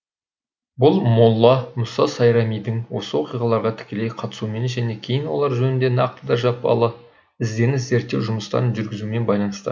бұл молла мұса сайрамидің осы оқиғаларға тікелей қатысуымен және кейін олар жөнінде нақты да жапалы ізденіс зерттеу жұмыстарын жүргізуімен байланысты